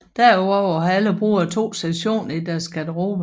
Derudover har alle brugere to sektioner i deres Garderobe